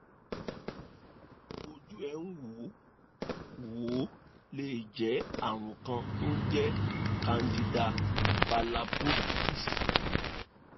ojú ẹ̀ ń wò ó wò ó lè jẹ́ àrùn kan tó ń jẹ́ candidal balanoposthitis